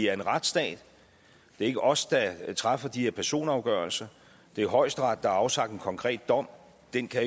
er en retsstat det er ikke os der træffer de her personafgørelser det er højesteret der har afsagt en konkret dom den kan